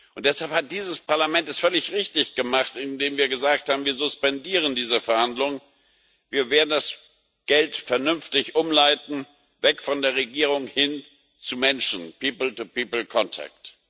Und deshalb hat dieses Parlament es völlig richtig gemacht, indem wir gesagt haben Wir suspendieren diese Verhandlungen, wir werden das Geld vernünftig umleiten, weg von der Regierung, hin zum Menschen people to people contact